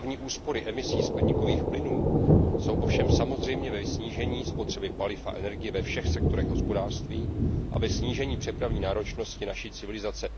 Hlavní úspory emisí skleníkových plynů jsou ovšem samozřejmě ve snížení spotřeby paliv a energie ve všech sektorech hospodářství a ve snížení přepravní náročnosti naší civilizace.